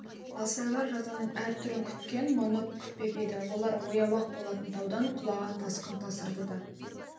алсайлар жазаның әр түрін күткен мұны күтпеп еді олар ояу-ақ болатын таудан құлаған тасқын тасырды да